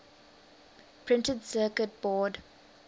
printed circuit board